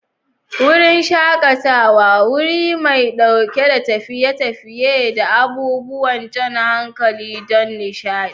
Wurin shakatawa: Wuri mai ɗauke da tafiye-tafiye da abubuwan jan hankali don nishaɗi.